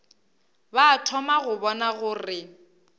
ba thoma go bona gore